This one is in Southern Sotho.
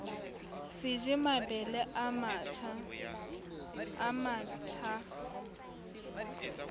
se je mabele a matjha